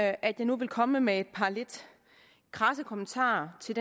at jeg nu vil komme med et par lidt krasse kommentarer til